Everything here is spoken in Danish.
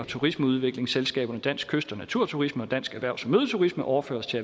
turismeudviklingsselskaberne dansk kyst og naturturisme og dansk erhvervs og mødeturisme overføres til